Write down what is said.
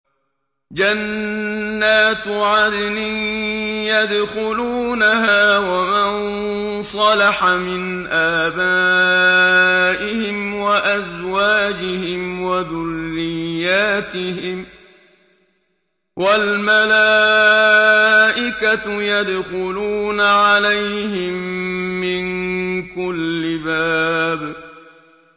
جَنَّاتُ عَدْنٍ يَدْخُلُونَهَا وَمَن صَلَحَ مِنْ آبَائِهِمْ وَأَزْوَاجِهِمْ وَذُرِّيَّاتِهِمْ ۖ وَالْمَلَائِكَةُ يَدْخُلُونَ عَلَيْهِم مِّن كُلِّ بَابٍ